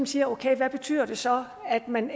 siger okay hvad betyder det så at man